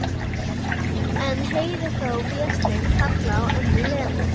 En heyri þá Véstein kalla á ömmu Lenu.